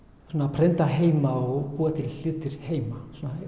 prenta heima og búa til hluti heima svona